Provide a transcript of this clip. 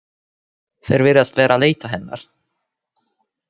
Þeir virðast vera að leita hennar.